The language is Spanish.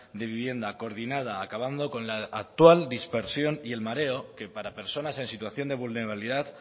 de vivienda coordinada acabando con la actual dispersión y el mareo que para personas en situación de vulnerabilidad